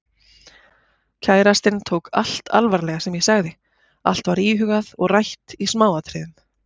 Kærastinn tók allt alvarlega sem ég sagði, allt var íhugað og rætt í smáatriðum.